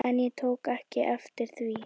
En ég tók ekki eftir því.